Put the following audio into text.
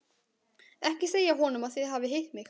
Ekki segja honum að þið hafið hitt mig.